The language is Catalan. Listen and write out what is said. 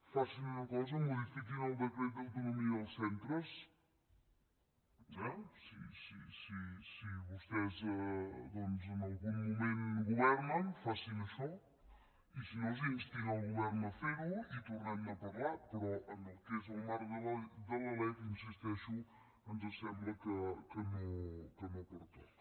facin una cosa modifiquin el decret d’autonomia dels centres eh si vostès doncs en algun moment governen facin això i si no instin el govern a fer ho i tornem ne a parlar però en el que és el marc de la lec hi insisteixo ens sembla que no pertoca